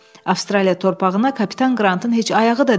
Avstraliya torpağına kapitan Qrantın heç ayağı da dəyməyib.